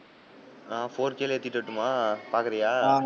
நான் four k லயே ஏத்திட்டு வரட்டுமா? பாக்கிறியா?